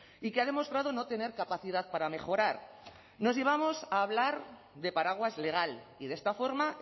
y que ha demostrado no tener capacidad para mejorar nos llevamos a hablar de paraguas legal y de esta forma